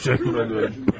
Təşəkkür edərəm.